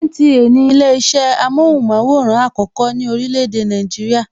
NTA ni ile isẹ amóhùnmaworan àkọ́kọ́ ní orílè èdè Nàìjíríà.